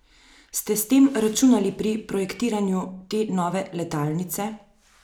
Ste s tem računali pri projektiranju te nove letalnice?